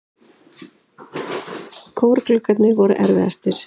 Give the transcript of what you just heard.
Kórgluggarnir voru erfiðastir.